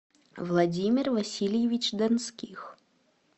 владимир васильевич донских